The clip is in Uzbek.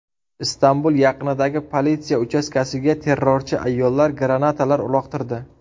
Istanbul yaqinidagi politsiya uchastkasiga terrorchi ayollar granatalar uloqtirdi.